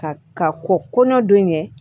Ka ka kɔ kɔnɔ don ɲɛ